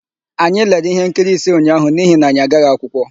Anyị lere íhénkiri ise ụnyaahụ n'ihi na anyị agaghị akwụkwọ.